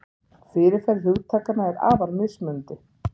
Fyrirferð hugtakanna er afar mismunandi.